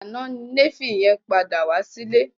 Àná ni Néfì yẹn padà wá sí ilé